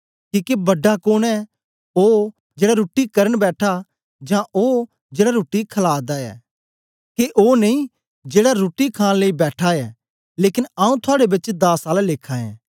किके बड़ा कोन ऐ ओ जेड़ा रुट्टी करन बैठा जां ओ जेड़ा रुट्टी खला दा ऐ के ओ नेई जेड़ा रुट्टी खांन लेई बैठा ऐ लेकन आऊँ थुआड़े बेच दास आला लेखा ऐं